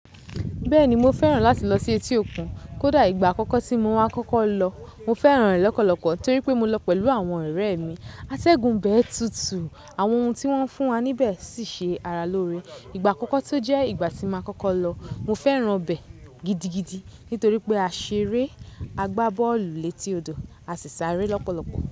Bẹ́ẹ̀ni mo fẹ́ràn láti lọ sí etí òkun. Kódà ìgbà àkọ́kọ́ tí mo wá kọ́kọ́ lọ, mo fẹ́ràn rẹ̀ lọ́pọ̀lọpọ̀ torí pé mo lọ pẹ̀lú àwọn ọ̀rẹ́e mi. Atẹ́gun ibẹ́ẹ̀ tútù, àwọn ohun tí wọ́n ń fún wa níbẹ̀ sì ṣe ara lóore. Ìgbà àkọ́kọ́ tí ó jẹ́ ìgbà tí n ma kọ́kọ́ lọ, mo fẹ́ràn ibẹ̀ gidigidi nítorí pé a ṣeré, a gbá bọ́ọ̀lù létí odò, a sì sáré lọ́pọ̀lọpọ̀.